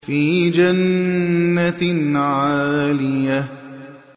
فِي جَنَّةٍ عَالِيَةٍ